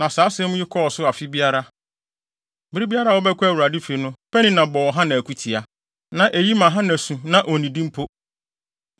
Na saa asɛm yi kɔɔ so afe biara. Bere biara a wɔbɛkɔ Awurade fi no, Penina bɔ Hana akutia. Na eyi ma Hana su na onnidi mpo.